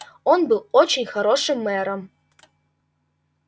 он был очень хорошим мэром